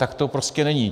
Tak to prostě není.